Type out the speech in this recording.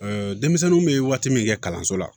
denmisɛnninw bɛ waati min kɛ kalanso la